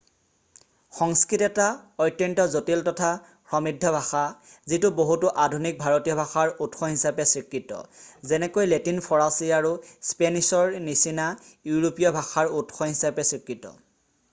সংস্কৃত এটা অত্যন্ত জটিল তথা সমৃদ্ধ ভাষা যিটো বহুতো আধুনিক ভাৰতীয় ভাষাৰ উৎস হিচাপে স্বীকৃত যেনেকৈ লেটিন ফৰাছী আৰু স্পেনিছৰ নিচিনা ইউৰোপীয় ভাষাৰ উৎস হিচাপে স্বীকৃত